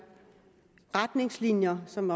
retningslinjer som